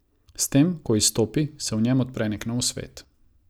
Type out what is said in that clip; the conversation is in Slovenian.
S tem, ko izstopi, se v njem odpre nek nov svet.